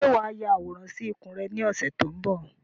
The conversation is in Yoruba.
Ṣé wá ya àwòrán sì ikùn rẹ ni ọ̀sẹ̀ tó ń bọ̀?